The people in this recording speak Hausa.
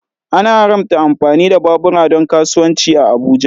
An haramta amfani da babura don kasuwanci a Abuja.